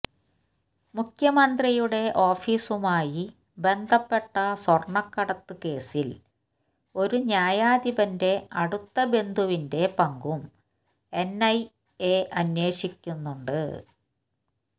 മുഖ്യമന്ത്രിയുടെ ഓഫീസുമായി ബന്ധപ്പെട്ട സ്വര്ണക്കടത്ത് കേസില് ഒരു ന്യായാധിപന്റെ അടുത്ത ബന്ധുവിന്റെ പങ്കും എന്ഐഎ അന്വേഷിക്കുന്നുണ്ട്